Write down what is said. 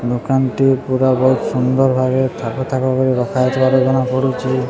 ହୋମ କାନ୍ତି ପୁରା ବହୁତ୍ ସୁନ୍ଦର ଭାବେ ଥାକ ଥାକ କରି ରଖା ହେଇଥିବାର ଜଣାପଡୁଚି।